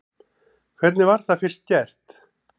Hvernig var það gert fyrst?